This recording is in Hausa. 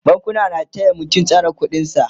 bankuna na taya mutum tsare ƙuɗin sa